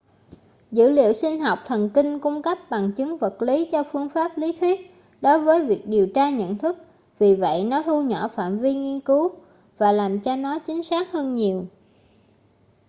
dữ liệu sinh học thần kinh cung cấp bằng chứng vật lý cho phương pháp lý thuyết đối với việc điều tra nhận thức vì vậy nó thu nhỏ phạm vi nghiên cứu và làm cho nó chính xác hơn nhiều